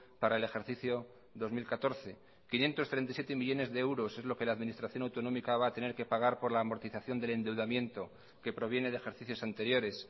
para el ejercicio dos mil catorce quinientos treinta y siete millónes de euros es lo que la administración autonómica va a tener que pagar por la amortización del endeudamiento que proviene de ejercicios anteriores